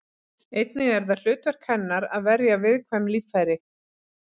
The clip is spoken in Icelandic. Einnig er það hlutverk hennar að verja viðkvæm líffæri.